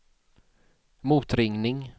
motringning